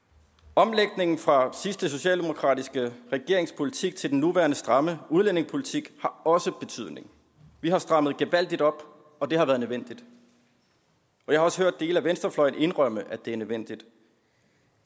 omlægningen fra sidste socialdemokratiske regerings politik til den nuværende stramme udlændingepolitik har også betydning vi har strammet gevaldigt op og det har været nødvendigt jeg har også hørt dele af venstrefløjen indrømme at det er nødvendigt